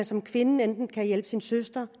som kvinde enten kan hjælpe sin søster